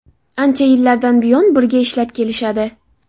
Ancha yillardan buyon birga ishlab kelishadi.